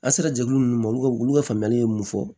An sera jɛkulu ninnu ma olu ka olu ka faamuyali ye mun fɔ